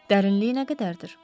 Dərinliyi nə qədərdir?